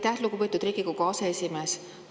Aitäh, lugupeetud Riigikogu aseesimees!